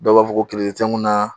Dɔw b'a fɔ ko te n kun naa